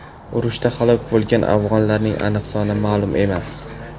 Urushda halok bo‘lgan afg‘onlarning aniq soni ma’lum emas.